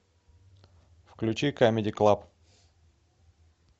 включи камеди клаб